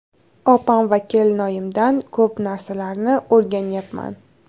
Opam va kelinoyimdan ko‘p narsalarni o‘rganyapman.